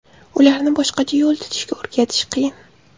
Ularni boshqacha yo‘l tutishga o‘rgatish qiyin.